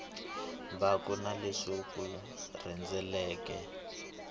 mbangu na leswi wu rhendzeleke